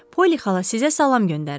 Polli xala sizə salam göndərir.